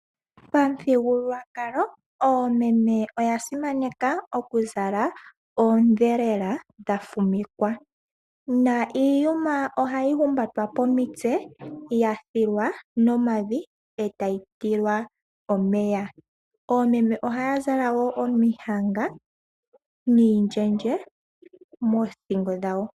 Pamuthigululwakalo oomeme oya simaneka okuzala oondhelela dha fumikwa niiyuma ohayi humbatwa pomitse yathilwa nomavi e tayi tilwa omeya. Oomeme ohaya zala wo omihanga niindjendje moothingo dhawo.